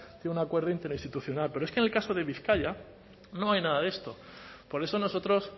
de un acuerdo interinstitucional pero es que en el caso de bizkaia no hay nada de esto por eso nosotros